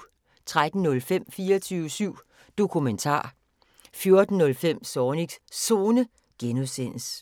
13:05: 24syv Dokumentar 14:05: Zornigs Zone (G)